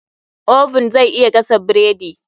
Oven zai iya gasa bredi.